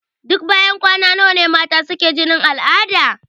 Duk banyan kwana nawa mata suke jinin al'ada?